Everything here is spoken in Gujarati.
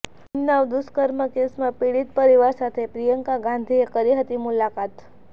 ઉન્નાવ દુષ્કર્મ કેસમાં પીડિત પરિવાર સાથે પ્રિયંકા ગાંધીએ કરી હતી મુલાકાત